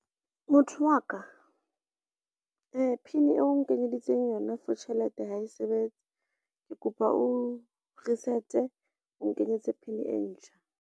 Motho wa ka, PIN eo o nkenyeditseng yona for tjhelete, ha e sebetse. Ke kopa o reset-e o nkenyetse PIN e ntjha.